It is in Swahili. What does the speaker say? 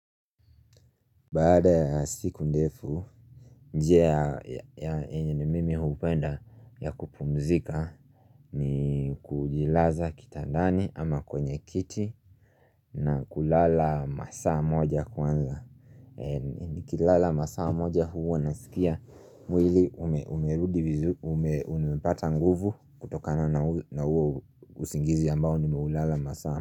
Baada ya siku ndefu, njia ya enye ni mimi hupenda ya kupumzika ni kujilaza kitandani ama kwenye kiti na kulala saa moja kwanza. Nikilala saa moja huwa nasikia mwili umerudi vizuri, umepata nguvu kutokana na huo usingizi ambao nimeulala saa moja.